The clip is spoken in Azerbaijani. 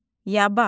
Yaba.